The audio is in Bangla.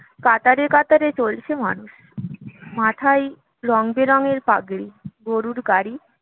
কাতারে চলেছে মানুষ মাথায় রংবেরঙের পাগড়ি গরুর গাড়ি